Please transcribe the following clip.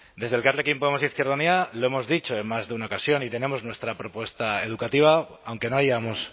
desde elkarrekin podemos izquierda unida lo hemos dicho en más de una ocasión y tenemos nuestra propuesta educativa aunque no hayamos